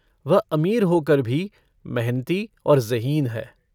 वह अमीर होकर भी मेहनती और ज़हीन है।